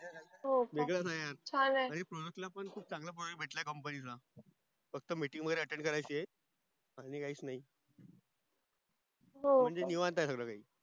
हो का वेगळ नाही आहे चान आहे Project ला चांगल काम भेटल आहे आहे company ला फक्त Meeting वगेरे Attend करायची आहे आनी काहिच नाही